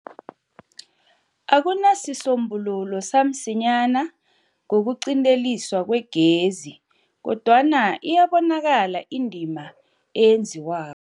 Akunasisombululo Samsinyana Ngokuqinteliswa Kwegezi, Kodwana Iyabonakala Indima Eyenziwako